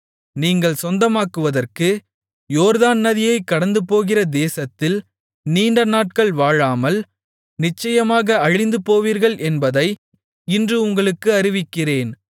நீங்கள் சொந்தமாக்குவதற்கு யோர்தான் நதியைக் கடந்துபோகிற தேசத்தில் நீண்டநாட்கள் வாழாமல் நிச்சயமாக அழிந்துபோவீர்கள் என்பதை இன்று உங்களுக்கு அறிவிக்கிறேன்